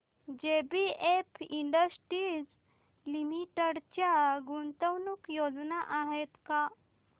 JBF industries limited च्या गुंतवणूक योजना आहेत का